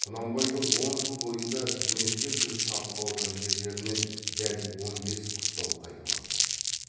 құнанбайдың он жыл бойында тірнектеп жүріп тартып алған жерлерінен дәл он бес қыстау қайтып алды